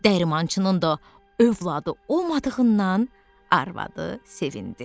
Dəyirmançının da övladı olmadığından arvadı sevindi.